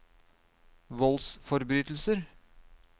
voldsforbrytelser